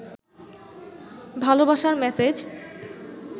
ভালবাসার মেসেজ